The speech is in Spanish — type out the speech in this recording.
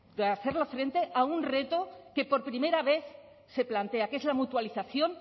de hacerle frente a un reto que por primera vez se plantea que es la mutualización